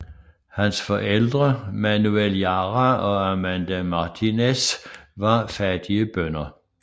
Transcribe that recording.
Hans forældre Manuel Jara og Amanda Martínez var fattige bønder